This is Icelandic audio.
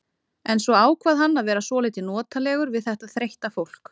En svo ákvað hann að vera svolítið notalegur við þetta þreytta fólk.